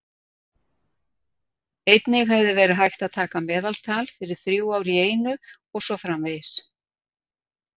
Einnig hefði verið hægt að taka meðaltal fyrir þrjú ár í einu og svo framvegis.